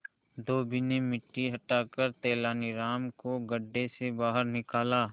धोबी ने मिट्टी हटाकर तेनालीराम को गड्ढे से बाहर निकाला